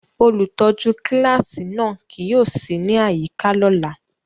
Olutọju kilasi náa kii yóò si ni ayika ọla.